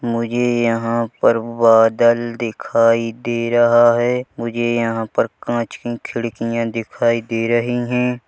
मुझे यहाँ पर बादल दिखाई दे रहा है मुझे यहाँ पर कांच की खिड़कियाँ दिखाई दे रही है।